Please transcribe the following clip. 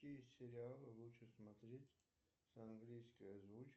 какие сериалы лучше смотреть с английской озвучкой